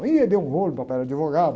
Aí, eh, deu um rolo, papai era advogado.